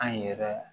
An yɛrɛ